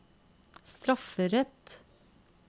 strafferett